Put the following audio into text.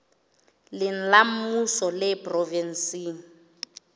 leng la mmuso le provenseng